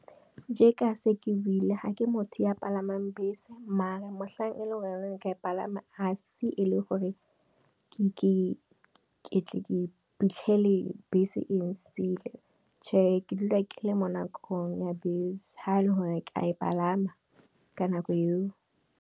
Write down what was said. Jeka se ke buile ga ke motho ya palamang bese, mare motlhang e leng gore ke a e palama a se le gore ke iphitlhele bese e nsiile, chehe ke dula ke le mo nakong ya bese ha le gore ke a e palama ka nako eo.